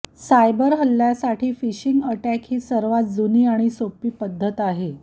cyber हल्ल्यासाठी phishing attack ही सर्वात जुनी आणि सोपी पद्धत आहे